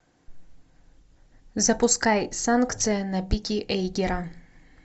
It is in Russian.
запускай санкция на пике эйгера